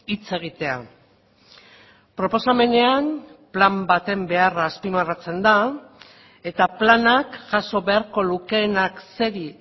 hitz egitea proposamenean plan baten beharra azpimarratzen da eta planak jaso beharko lukeenak zeri